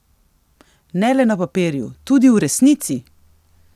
Ne le na papirju, tudi v resnici!